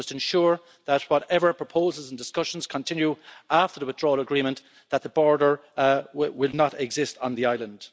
You must ensure that, whatever proposals and discussions continue after the withdrawal agreement, the border will not exist on the island.